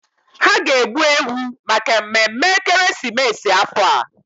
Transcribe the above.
Ha ga-egbu ewu maka mmemme ekeresimesi afọ a.